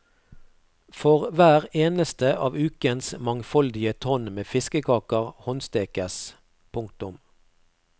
For hver eneste av ukens mangfoldige tonn med fiskekaker håndstekes. punktum